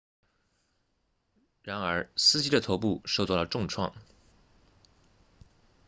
然而司机的头部受到了重创